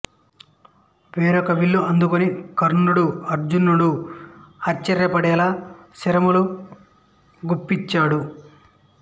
వేరొక విల్లు అందుకుని కర్ణుడు అర్జునుడు ఆశ్చర్యపడేలా శరములు గుప్పించాడు